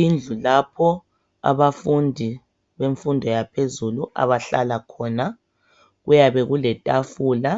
Indlu lapho abafundi bemfundo yaphezulu abahlala khona. Kuyabe kuletafula